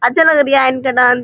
अच्छा लग रिहा है इनका डांस ।